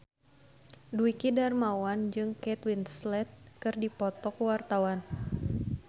Dwiki Darmawan jeung Kate Winslet keur dipoto ku wartawan